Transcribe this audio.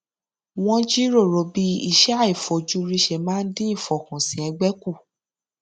wọn jíròrò bí iṣẹ aifojúrí ṣe máa dín ìfọkànsìn ẹgbẹ kù